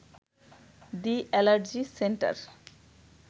the allergy centre